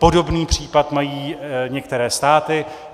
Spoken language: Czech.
Podobný případ mají některé státy.